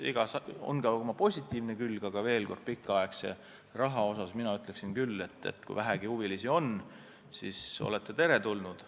Igal asjal on ka oma positiivne külg, aga veel kord: pikaajalise laenu andjatele mina ütleksin küll, et te olete teretulnud.